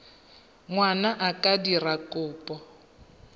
ngwana a ka dira kopo